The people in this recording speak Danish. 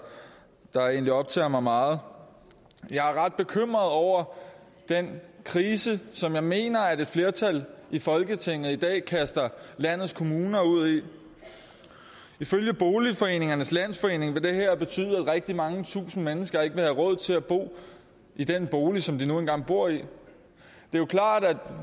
egentlig optager mig meget jeg er ret bekymret over den krise som jeg mener at et flertal i folketinget i dag kaster landets kommuner ud i ifølge boligforeningernes landsforening bl vil det her betyde at rigtig mange tusinde mennesker ikke vil have råd til at bo i den bolig som de nu engang bor i det er jo klart at